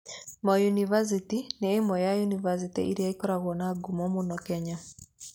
Moi University nĩ ĩmwe ya yunivasĩtĩ iria ngũrũ mũno Kenya.